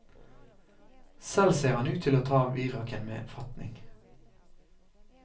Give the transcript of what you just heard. Selv ser han ut til å ta viraken med fatning.